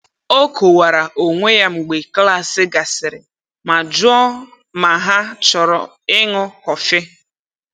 O kowara onwe ya mgbe klas gasịrị ma jụọ ma ha chọrọ ịnù kọfị.